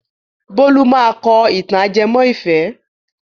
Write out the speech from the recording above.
Bólú máa kọ ìtàn ajẹmọ́ ìfẹ́.